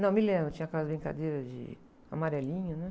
Não, me lembro, tinha aquelas brincadeiras de amarelinha, né?